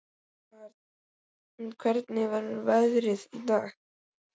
Vernharð, hvernig er veðrið í dag?